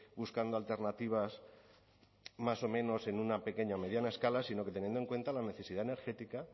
buscando alternativas más o menos en una pequeña o mediana escala sino que teniendo en cuenta la necesidad energética